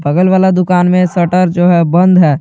बगल वाला दुकान में शटर जो है बंद है।